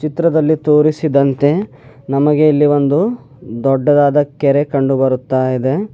ಚಿತ್ರದಲ್ಲಿ ತೋರಿಸಿದಂತೆ ನಮಗೆ ಇಲ್ಲಿ ಒಂದು ದೊಡ್ಡದಾದ ಕೆರೆ ಕಂಡು ಬರುತ್ತಾ ಇದೆ.